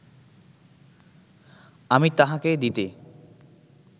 আমি তাঁহাকে দিতে